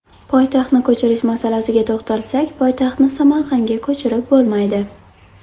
Poytaxtni ko‘chirish masalasiga to‘xtalsak, poytaxtni Samarqandga ko‘chirib bo‘lmaydi.